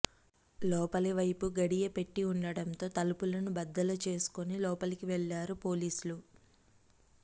లోపలివైపు గడియ పెట్టి ఉండటంతో తలుపులను బద్దలు చేసుకుని లోపలికి వెళ్లారు పోలీసులు